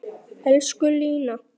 Elsku Lína.